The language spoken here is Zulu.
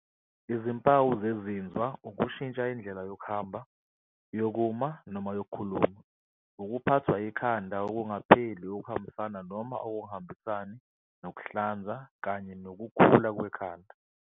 Izimpawu zezinzwa, ukushintsha indlela yokuhamba, yokuma noma yokukhuluma, ukuphathwa ikhanda okungapheli okuhambisana noma okungahambisani nokuhlanza kanye nokukhula kwekhanda.